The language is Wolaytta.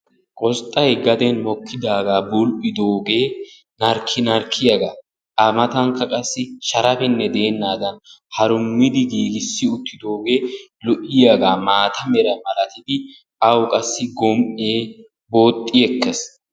Qosixxay gaden mokkidaagaa bul"idoogee narkki narkkiyaagaa a matankka qassi sharapinne deennagaa harummidi giigissidi uttidoogee lo"iyaagaa maata mera malatidi awu qassi gom"ee booxxi ekkees.